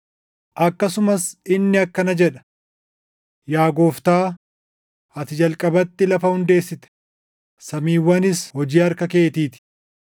Akkasumas inni akkana jedha; “Yaa Gooftaa, ati jalqabatti lafa hundeessite; samiiwwanis hojii harka keetii ti.